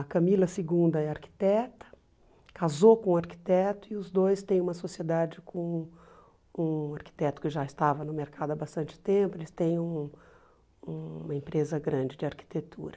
A Camila segunda é arquiteta, casou com um arquiteto e os dois têm uma sociedade com com um arquiteto que já estava no mercado há bastante tempo, eles têm um uma empresa grande de arquitetura.